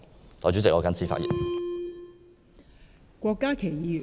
代理主席，我謹此陳辭。